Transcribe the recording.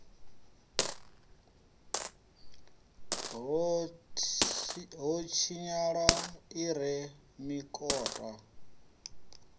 ho tshinyala i re mikota